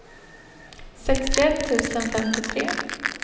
sextioett tusen femtiotre